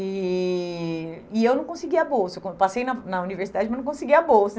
E e eu não conseguia bolsa, eu con eu passei na na universidade, mas não conseguia bolsa.